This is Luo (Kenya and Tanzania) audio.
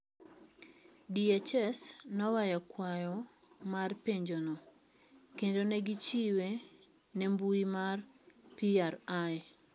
DHS ne oweyo kwayo mar penjono, kendo ne gichiwe nembui mar PRI.